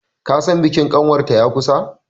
kasan bikin kanwarta ya kusa!